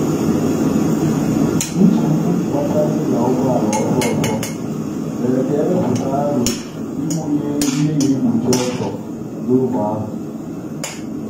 nchegbu gbasara ị nya ụgbọala ọsọ ọsọ mere ka e wepụta aro ịwụnye ihe na egbochi ọsọ n’ógbè ahụ.